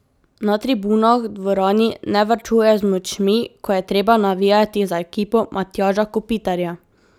Na tribunah v dvorani ne varčujejo z močmi, ko je treba navijati za ekipo Matjaža Kopitarja.